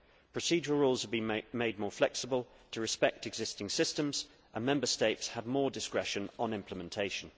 Procedural rules have been made more flexible, to respect existing systems, and Member States have more discretion on implementation.